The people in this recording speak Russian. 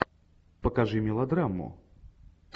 покажи мелодраму